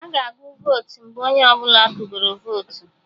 Aga agụ votu mgbe onye ọbụla tụgoro votu